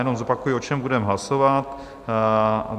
Jenom zopakuji, o čem budeme hlasovat.